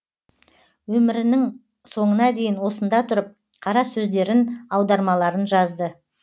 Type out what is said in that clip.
өмірінің соңына дейін осында тұрып қара сөздерін аудармаларын жазды